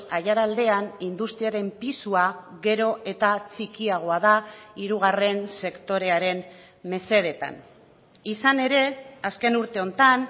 aiaraldean industriaren pisua gero eta txikiagoa da hirugarren sektorearen mesedetan izan ere azken urte honetan